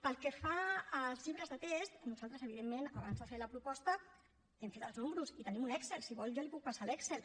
pel que fa als llibres de text nosaltres evidentment abans de fer la proposta hem fet els números i tenim un excel si vol jo li puc passar l’excel